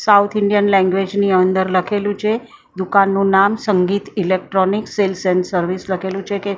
South Indian language ની અંદર લખેલું છે. દુકાનનું નામ Sangeet electronics sales and service લખેલું છે કે-